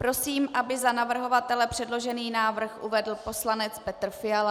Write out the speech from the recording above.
Prosím, aby za navrhovatele předložený návrh uvedl poslanec Petr Fiala.